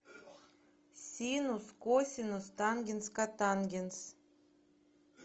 синус косинус тангенс котангенс